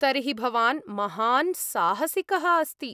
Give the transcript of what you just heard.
तर्हि भवान् महान् साहसिकः अस्ति!